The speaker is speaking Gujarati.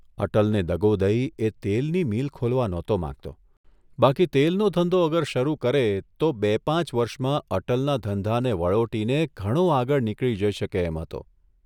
અટલને દો દઇ એ તેલની મીલ ખોલવા નહોતો માંગતો બાકી તેલનો ધંધો અગર શરૂ કરે તો બે પાંચ વર્ષમાં અટલના ધંધાને વળોટીને ઘણો આગળ નીકળી જઇ શકે એમ હતો!